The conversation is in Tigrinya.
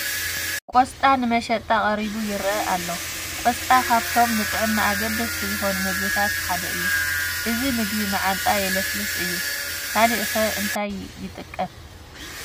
ቆስጣ ንመሸጣ ቀሪቡ ይርአ ኣሎ ፡፡ ቆስጣ ካብቶም ንጥዕና ኣገደስቲ ዝኾኑ ምግብታት ሓደ እዩ፡፡ እዚ ምግቢ መዓንጣ የለስልስ እዩ፡፡ ካልእ ኸ እንታይ ይጠቅም?